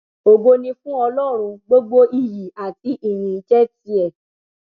ògo ni fún ọlọrun gbogbo iyì àti ìyìn jẹ tiẹ